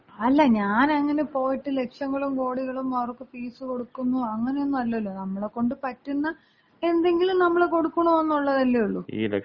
അല്ല ഞാൻ അങ്ങനെ പോയിട്ട് ലക്ഷങ്ങളും കോടികളും അവർക്ക് ഫീസ് കൊടുക്കുന്നു അങ്ങനെ ഒന്നും അല്ലല്ലോ. നമ്മളെക്കൊണ്ട് പറ്റുന്ന എന്തെങ്കിലും നമ്മള് കൊടുക്കണംന്നല്ലേയുള്ളൂ.